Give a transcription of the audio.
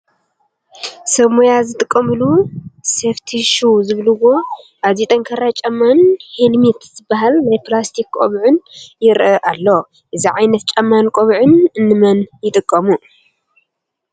ሰብ ሞያ ዝጥቀሙሉ ሴፍቲ ሹ ዝብልዎ ኣዝዩ ጠንካራ ጫማን ሄልሜት ዝበሃል ናይ ፕላስቲክ ቆቢዕን ይርአ ኣሎ፡፡ እዚ ዓይነት ጫማን ቆቢዕን እንመን ይጥቀሙ?